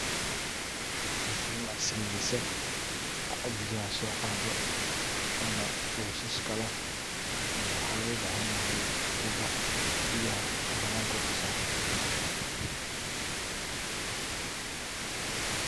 Mashin casriyeysan oo biyaha so qado, ona wishashka leh waxana loo bahan yahay tubaa biyaha bananka uso sarta.